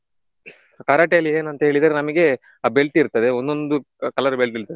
Karate ಅಲ್ಲಿ ಏನಂತ ಹೇಳಿದ್ರೆ ನಮಿಗೆ ಆ belt ಇರ್ತದೆ ಒಂದೊಂದು colour belt ಇರ್ತದೆ.